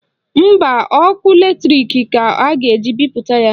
Mba, ọkụ latrik ka a ga-eji bipụta ya